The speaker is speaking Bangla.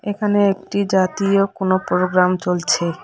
এখানে একটি জাতীয় কোনো প্রোগ্রাম চলছে।